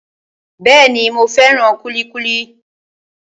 Bẹ́ẹ̀ni, mo fẹ́ràn kúlíkúlí